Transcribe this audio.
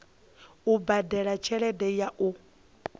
u badela tshelede ya u